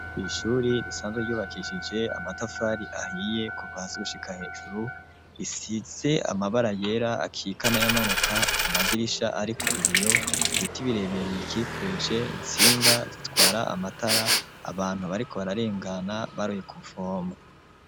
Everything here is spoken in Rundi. Ishuri risanzwe yubakishije amatafari ahiye kuva hasi gushika hejuru isize amabara yera akikana y'amanuka amadirisha ariko ibiyo ibiti birebeye bikikuje insinga zitwara amatara abantu bariko bararengana baroye ku vomo.